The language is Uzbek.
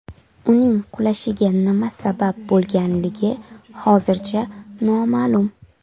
Uning qulashiga nima sabab bo‘lganligi hozircha noma’lum.